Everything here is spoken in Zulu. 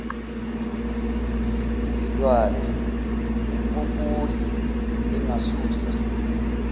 yizilwane umpopoli engasusa